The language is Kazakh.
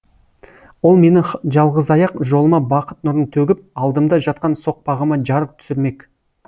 ол менің жалғызаяқ жолыма бақыт нұрын төгіп алдымда жатқан соқпағыма жарық түсірмек